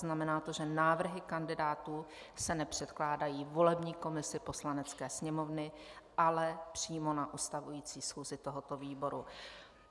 Znamená to, že návrhy kandidátů se nepředkládají volební komisi Poslanecké sněmovny, ale přímo na ustavující schůzi tohoto výboru.